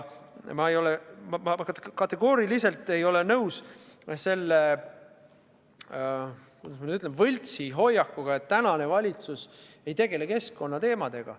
Ma kategooriliselt ei ole nõus selle, kuidas ma nüüd ütlen, võltsi hoiakuga, et tänane valitsus ei tegele keskkonnateemadega.